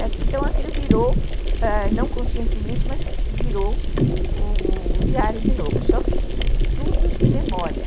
Então, aquilo virou, não conscientemente, mas virou o o diário de novo, só que tudo de memória.